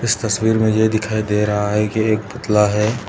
इस तस्वीर में ये दिखाई दे रहा है कि एक पुतला है।